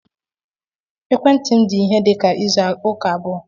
Ekwentị m dị ihe dị ka izu ụka abụọ